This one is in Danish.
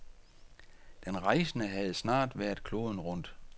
Den rejsende havde snart været kloden rundt.